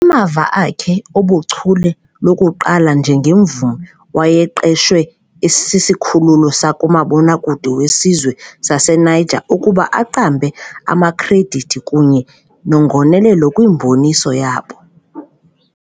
Amava akhe obuchule bokuqala njengemvumi wayeqeshwe sisikhululo sakumabonakude wesizwe saseNiger ukuba aqambe amakhredithi kunye nongenelelo kwimboniso yabo.